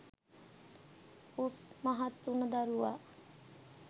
උස් මහත් වුණ දරුවා